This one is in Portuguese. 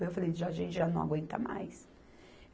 Eu falei, já a gente já não aguenta mais.